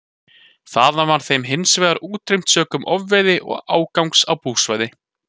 Þaðan var þeim hins vegar útrýmt sökum ofveiði og ágangs á búsvæði.